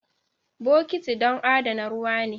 Bokiti don adana ruwa ne.